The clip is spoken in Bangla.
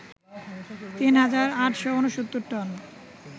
৩ হাজার ৮৬৯ টন